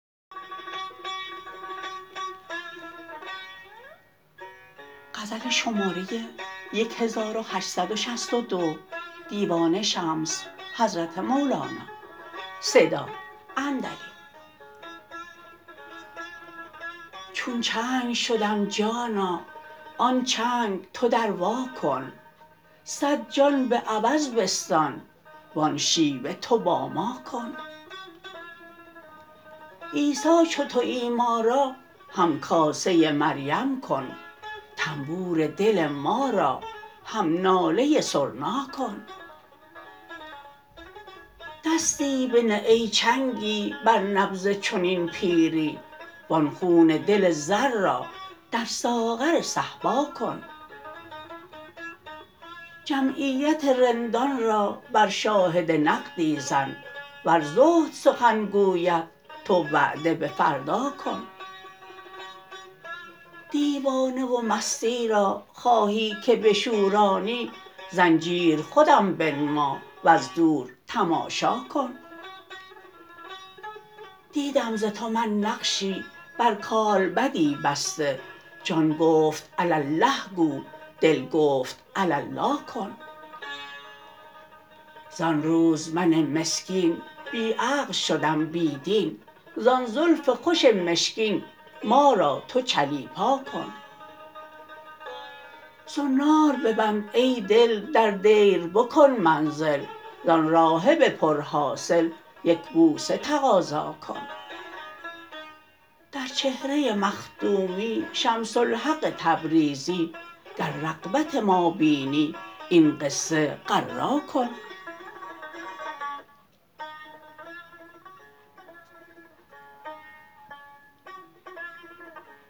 چون چنگ شدم جانا آن چنگ تو دروا کن صد جان به عوض بستان وان شیوه تو با ما کن عیسی چو توی ما را همکاسه مریم کن طنبور دل ما را هم ناله سرنا کن دستی بنه ای چنگی بر نبض چنین پیری وان خون دل زر را در ساغر صهبا کن جمعیت رندان را بر شاهد نقدی زن ور زهد سخن گوید تو وعده به فردا کن دیوانه و مستی را خواهی که بشورانی زنجیر خودم بنما وز دور تماشا کن دیدم ز تو من نقشی بر کالبدی بسته جان گفت علی الله گو دل گفت علالا کن زان روز من مسکین بی عقل شدم بی دین زان زلف خوش مشکین ما را تو چلیپا کن زنار ببند ای دل در دیر بکن منزل زان راهب پرحاصل یک بوسه تقاضا کن در چهره مخدومی شمس الحق تبریزی گر رغبت ما بینی این قصه غرا کن